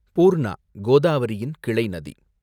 பூர்ணா, கோதாவரியின் கிளை நதி